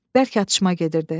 Bərk atışma gedirdi.